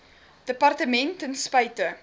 departement ten spyte